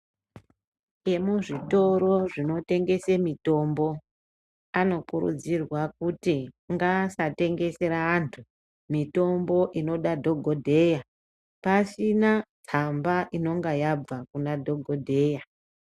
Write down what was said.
Vemuzvitoro zvinotengese mitombo anokurudzirwa kuti ngaasatengesera antu mitombo inoda dhokodheya pasina tsamba inonga yabva Kuna dhokodheya.